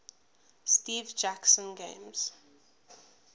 steve jackson games